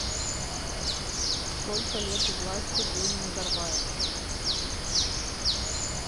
сколько лет у власти был назарбаев